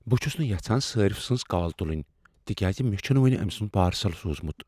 بہٕ چھس نہٕ یژھان صارِف سٕنز کال تُلٕنۍ تکیازِ مےٚ چھنہٕ ؤنۍ أمۍ سنٛد پارسل سوٗزمت۔